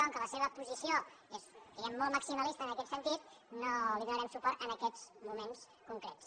com que la seva posició és molt maximalista en aquest sentit no hi donarem suport en aquests moments concrets